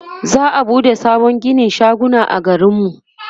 za'a buɗe sabon ginin shaguna a garin mu